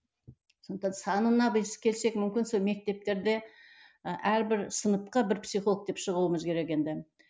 сондықтан санына біз келсек мүмкін сол мектептерде і әрбір сыныпқа бір психолог деп шығуымыз керек енді